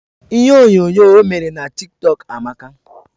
Ihe onyo nyoo o mere n'a TikTok Amaka